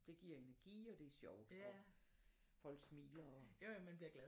Det giver energi og det er sjovt og folk smiler og